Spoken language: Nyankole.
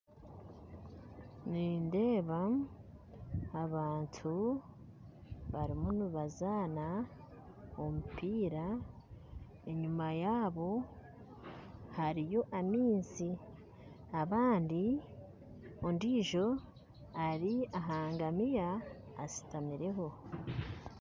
Nindeeba abantu barumu nibazaana omupiira enyuma yabo hariyo amaizi abandi ondijo ari ahangamiya ashutamireho.